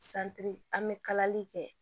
an bɛ kalali kɛ